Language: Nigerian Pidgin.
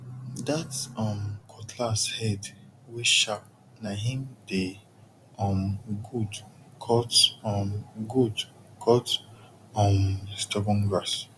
that um cutlass head wey sharp na him dey um good cut um good cut um stubborn grass